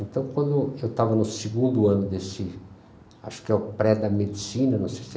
Então, quando eu estava no segundo ano desse, acho que é o pré da medicina, não sei se é